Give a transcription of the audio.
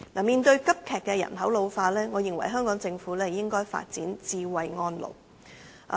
面對急劇的人口老化，我認為香港政府應該發展"智慧安老"。